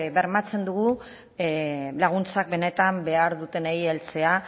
bermatzen dugu laguntzak benetan behar dutenei heltzea